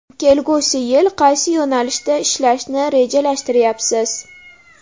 Kelgusi yil qaysi yo‘nalishda ishlashni rejalashtiryapsiz?